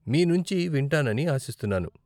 మీ నుంచి వింటానని ఆశిస్తున్నాను .